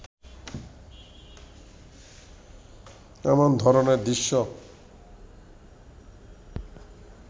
এমন ধরনের দৃশ্য